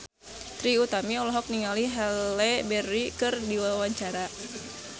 Trie Utami olohok ningali Halle Berry keur diwawancara